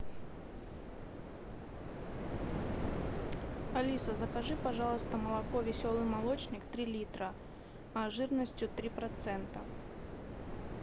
алиса закажи пожалуйста молоко веселый молочник три литра жирностью три процента